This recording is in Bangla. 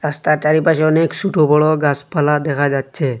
রাস্তার চারিপাশে অনেক সুটো বড় গাসপালা দেখা যাচ্ছে।